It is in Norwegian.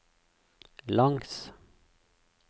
langs